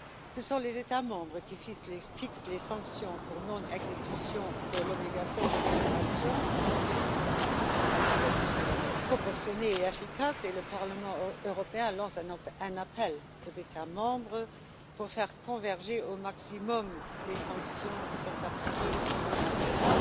Ce sont les États membres qui fixent les sanctions pour non exécution de l'obligation de déclaration elles doivent être proportionnées et efficaces et le Parlement européen lance un appel aux États membres pour faire converger au maximum les sanctions appliquées au niveau national,